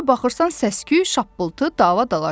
Hara baxırsan səs-küy, şappıltı, dava-dalaş.